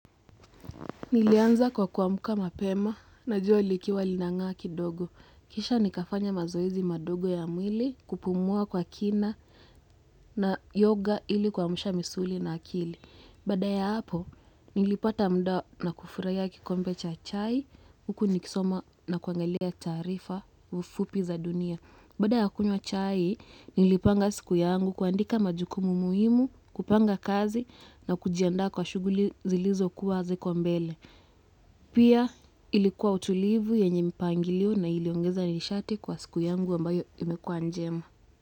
Nilianza kwa kuamka mapema na jua likiwa linangaa kidogo kisha nikafanya mazoezi madogo ya mwili kupumua kwa kina na yoga ilikuamsha misuli na akili. Baada ya hapo, nilipata muda na kufurahia kikombe cha chai, huku nikisoma na kuangalia taarifa ufupi za dunia. Bada ya kunywa chai, nilipanga siku yangu kuandika majukumu muhimu, kupanga kazi na kujianda kwa shughuli zilizo kuwa ziko mbele. Pia ilikuwa utulivu yenye mipangilio na iliongeza nishati kwa siku yangu ambayo imekuwa njema.